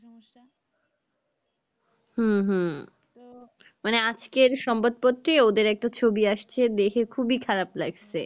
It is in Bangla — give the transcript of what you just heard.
হম হম মানে আজকের সংবাদপত্রে ওদের একটা ছবি আসছে যে খুবই খারাপ লাগছে